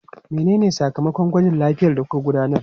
Menene sakamakon gwajin lafiyar da kuka gudanar?